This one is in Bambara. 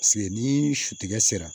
ni su tigɛra